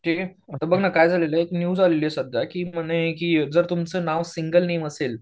ते आता बघ ना काय झालेलं आहे एक न्यूज आलेली आहे सध्या की म्हणे की जर तुमचं नाव सिंगल नेम असेल